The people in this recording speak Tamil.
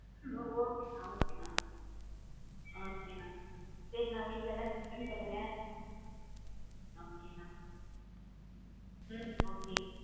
Okay அண்ணா okay அண்ணா சேரி அண்ணா வீட்லைலாம் கேட்டேன்னு சொல்லுங்க okay அண்ணா உம் okay